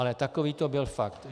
Ale takový to byl fakt.